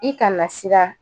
I kana siran